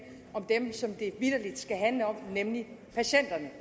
om dem som det vitterlig skal handle om nemlig patienterne